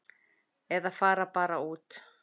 Eða fara bara út.